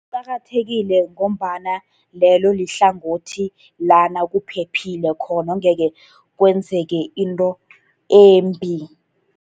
Kuqakathekile ngombana lelo lihlangothi lana kuphephile khona, engekhe kwenzeke into embi.